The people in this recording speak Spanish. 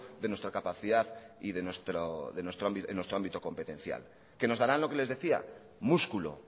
de nuestra capacidad y en nuestro ámbito competencial que nos darán lo que les decía músculo